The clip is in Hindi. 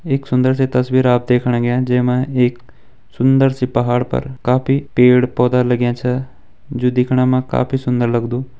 एक सुन्दर सी तस्वीर आप देखण गया जैमा एक सुंदर सी पहाड पर काफी पेड़-पौधा लग्यां छा जू दिखणा मा काफी सुन्दर लगदु।